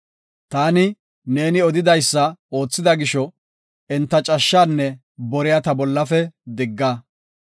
Taani neeni odidaysa oothida gisho, enta cashshaanne boriya ta bollafe digga.